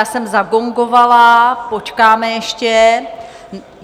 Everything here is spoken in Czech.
Já jsem zagongovala, počkáme ještě.